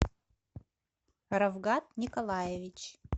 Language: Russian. равгат николаевич